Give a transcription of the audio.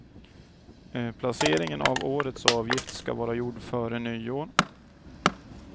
Placeringen av årets avgift ska vara gjord före nyår.